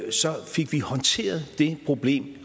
vi fik håndteret det problem